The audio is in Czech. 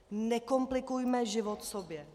Nekomplikujme život sobě!